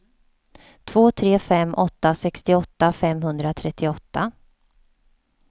två tre fem åtta sextioåtta femhundratrettioåtta